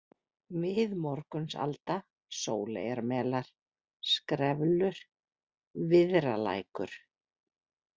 Miðmorgunsalda, Sóleyjarmelar, Skreflur, Viðralækur